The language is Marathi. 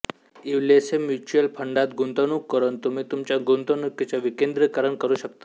इवलेसेम्युचुअल फंडात गुंतवणूक करून तुम्ही तुमच्या गुंतवणुकीचे विकेंद्रिकरण करू शकता